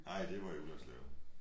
Nej det var i Ullerslev